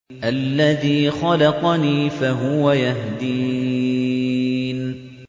الَّذِي خَلَقَنِي فَهُوَ يَهْدِينِ